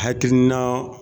Hakilina